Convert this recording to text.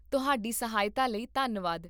ਤੁਹਾਡੀ ਸਹਾਇਤਾ ਲਈ ਧੰਨਵਾਦ